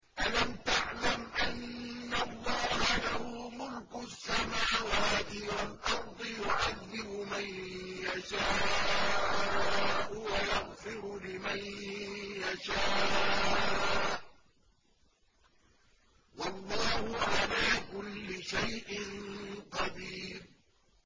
أَلَمْ تَعْلَمْ أَنَّ اللَّهَ لَهُ مُلْكُ السَّمَاوَاتِ وَالْأَرْضِ يُعَذِّبُ مَن يَشَاءُ وَيَغْفِرُ لِمَن يَشَاءُ ۗ وَاللَّهُ عَلَىٰ كُلِّ شَيْءٍ قَدِيرٌ